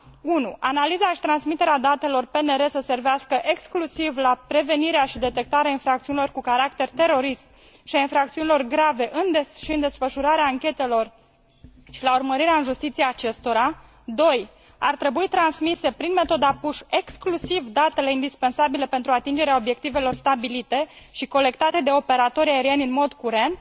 1. analiza și transmiterea datelor PNR să servească exclusiv la prevenirea și detectarea infracțiunilor cu caracter terorist și a infracțiunilor grave și în desfășurarea anchetelor și la urmărirea în justiție a acestora 2. ar trebui transmise prin metoda push exclusiv datele indispensabile pentru atingerea obiectivelor stabilite și colectate de operatorii aerieni în mod curent